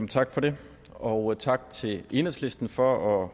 tak for det og tak til enhedslisten for at